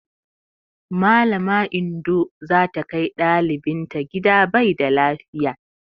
Mallama Indo za ta kai ɗalibinta gida bai da lafiya.